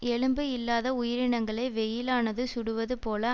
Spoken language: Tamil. எலும்பு இல்லாத உயிரினங்களை வெயிலானது சுடுவது போல